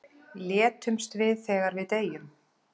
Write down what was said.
Létumst við þegar við deyjum?